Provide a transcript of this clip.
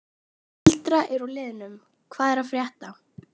Eldra úr liðnum Hvað er að frétta?